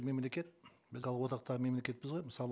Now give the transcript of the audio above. мемлекет біз одақтағы мемлекетпіз ғой мысалы